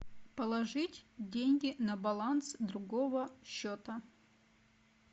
положить деньги на баланс другого счета